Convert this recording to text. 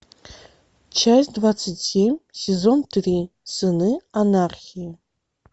часть двадцать семь сезон три сыны анархии